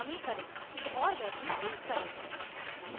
variable में कमी करें